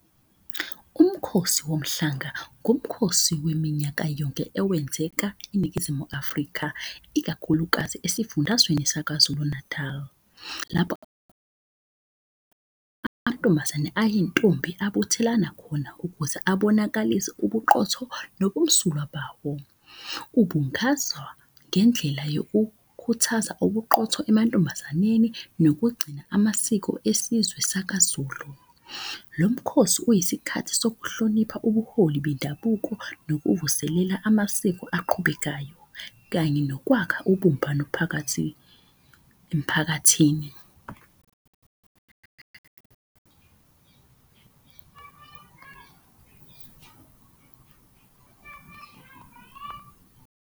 Umkhosi woMhlanga, umkhosi weminyaka yonke ewenzeka eNingizimu Afrika, ikakhulukazi esifundazweni saKwaZulu-Natal. Lapho amantombazane ayintombi abuthelana khona ukuze abonakale ubuqotho nobumsulwa bawo. Ubungazwa ngendlela yokukhuthaza ubuqotho amantombazaneni nokugcina amasiko esizwe sakaZulu. Lo mkhosi uyisikhathi sokuhlonipha ubuholi bendabuko nokuvuselela amasiko aqhubekayo, kanye nokwakha ubumbano phakathi emphakathini .